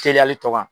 Teliya hali tɔ kan